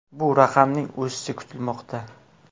Bu raqamning o‘sishi kutilmoqda.